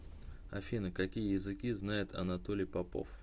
афина какие языки знает анатолий попов